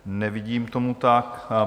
Nevidím tomu tak.